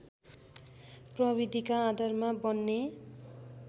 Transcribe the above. प्रविधिका आधारमा बन्ने